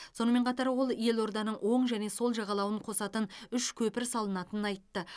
сонымен қатар ол елорданың оң және сол жағалауын қосатын үш көпір салынатынын айтты